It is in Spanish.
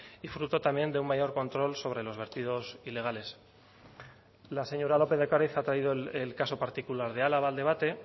y fruto también de un mayor control sobre los vertidos ilegales la señora lópez de ocariz ha traído el caso particular de álava al debate